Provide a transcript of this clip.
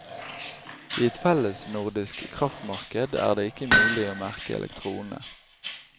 I et fellesnordisk kraftmarked er det ikke mulig å merke elektronene.